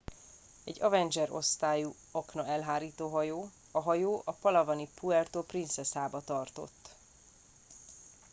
egy avenger osztályú aknaelhárító hajó a hajó a palawani puerto princesába tartott